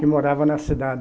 Que morava na cidade.